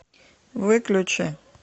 выключи